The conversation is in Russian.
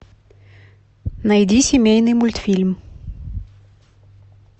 найди семейный мультфильм